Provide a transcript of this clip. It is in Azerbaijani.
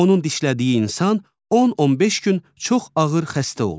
Onun dişlədiyi insan 10-15 gün çox ağır xəstə olur.